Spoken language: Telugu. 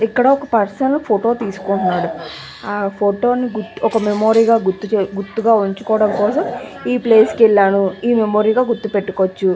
ఇక్కడ ఒక పర్సన్ ఫోటో తీసుకుంటున్నాడు. ఆ ఫోటో ని మెమరీ గ గుర్తు పెట్టుకోవడానికి ఈ ప్లేస్ కి వెళ్ళాడు. అని మెమరీ గ గుర్తు పెట్టుకోవచ్చు.